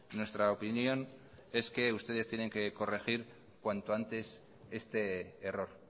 nuestra opinión es que ustedes tienen que corregir cuanto antes este error